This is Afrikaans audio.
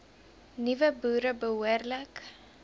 nuwe boere behoorlik